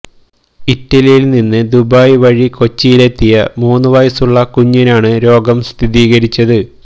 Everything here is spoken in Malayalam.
ഇറ്റലിയില് നിന്ന് ദുബായ് വഴി കൊച്ചിയിലെത്തിയ മൂന്നുവയസുള്ള കുഞ്ഞിനാണ് രോഗം സ്ഥിരീകരിച്ചത്